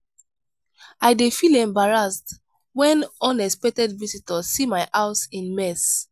i dey feel embarrassed when unexpected visitors see my house in mess.